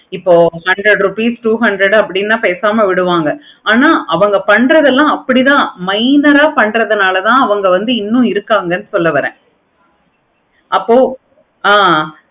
இப்ப hundred rupees two hundred நான் பேசாம விடுவாங்க இப்படி தன minor ஆஹ் பன்றதனால அதன்வாங்க இன்னோனு இருக்காங்க சொல்ல வரேன். apo ஆஹ்